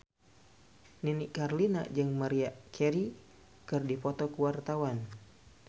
Nini Carlina jeung Maria Carey keur dipoto ku wartawan